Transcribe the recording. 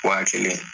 Wa kelen